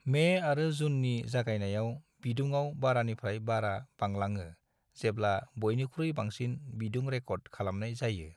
May आरो जूननि जागायनायाव बिदुङाव बारानिफ्राय बारा बांलाङो जेब्ला बयनिख्रुइ बांसिन बिदुं रेकर्ड खालामनाय जायो।